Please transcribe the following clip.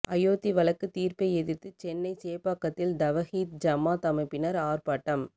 அயோத்தி வழக்கு தீர்ப்பை எதிர்த்து சென்னை சேப்பாக்கத்தில் தவஹீத் ஜமாத் அமைப்பினர் ஆர்ப்பாட்டம்